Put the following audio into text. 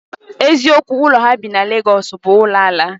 Eziokwu. Ụlọ ha bi na Legọs bụ ụlọ ala